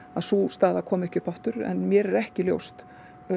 sú staða komi ekki upp aftur en mér er ekki ljóst